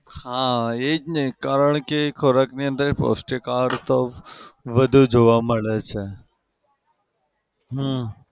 હા એ જ ને કારણ કે એ ખોરાકની અંદર પૌષ્ટિક આહાર તો વધુ જોવા મળે છે. હમ